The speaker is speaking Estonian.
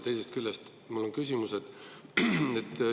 Teisest küljest on mul küsimus.